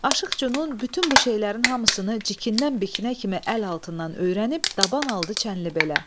Aşıq Cünun bütün bu şeylərin hamısını cikindən-bikinə kimi əl altından öyrənib, taban aldı Çənlibelə.